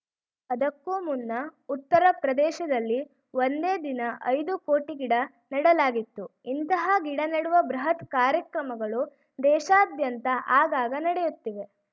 ಅದಕ್ಕೂ ಮುನ್ನ ಉತ್ತರ ಪ್ರದೇಶದಲ್ಲಿ ಒಂದೇ ದಿನ ಐದು ಕೋಟಿ ಗಿಡ ನೆಡಲಾಗಿತ್ತು ಇಂತಹ ಗಿಡ ನೆಡುವ ಬೃಹತ್‌ ಕಾರ್ಯಕ್ರಮಗಳು ದೇಶಾದ್ಯಂತ ಆಗಾಗ ನಡೆಯುತ್ತಿವೆ